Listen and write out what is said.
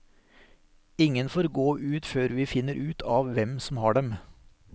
Ingen får gå ut før vi finner ut av hvem som har dem.